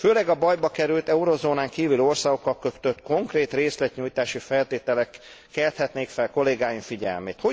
Főleg a bajba került eurozónán kívüli országokkal kötött konkrét részletnyújtási feltételek kelthetnék fel kollégáim figyelmét.